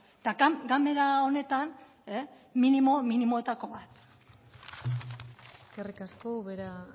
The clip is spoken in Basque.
eta ganbera honetan minimoetako bat eskerrik asko ubera